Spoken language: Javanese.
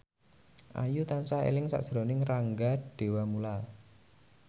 Ayu tansah eling sakjroning Rangga Dewamoela